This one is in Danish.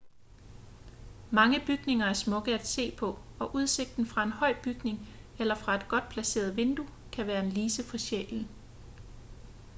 mange bygninger er smukke at se på og udsigten fra en høj bygning eller fra et godt placeret vindue kan være en lise for sjælen